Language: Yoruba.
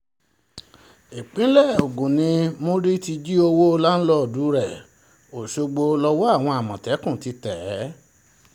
ìpínlẹ̀ ogun ni múni ti jí owó láńdìdì rẹ̀ ọ̀ṣọ́gbó lọ́wọ́ àwọn àmọ̀tẹ́kùn ti tẹ̀ é